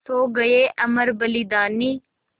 सो गये अमर बलिदानी